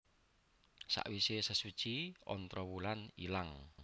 Sawise sesuci Ontrowulan ilang